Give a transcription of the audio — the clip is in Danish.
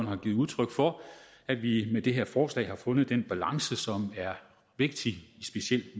har givet udtryk for at vi med det her forslag har fundet den balance som er vigtig specielt